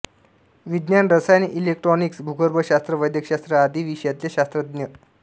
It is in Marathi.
विज्ञान रसायन इलेक्ट्रोनिक्स भूगर्भशास्त्र वैद्यकशास्त्र आदी विषयांतले शास्त्रज्ञ